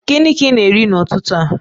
Gịnị ka ị na-eri n'ụtụtụ a?